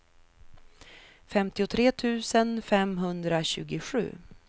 femtiotre tusen femhundratjugosju